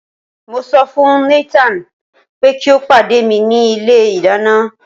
mo so fún Nathan pe ki o pade mi ni ilé ìdáná